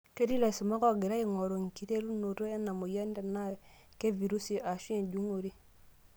Ketii laisumak oogira aingoru enkiterunoto ena moyian tenaa kevirusi aashu enjung'ore.